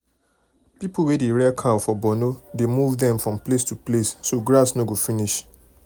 people wey dey rear cow for borno dey move them from place to place um so grass no go finish.